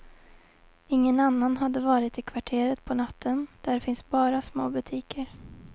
Ingen annan hade varit i kvarteret på natten, där finns bara små butiker.